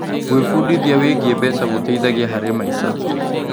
Gwĩbundithia wĩgiĩ mbeca gũteithagia harĩ maica.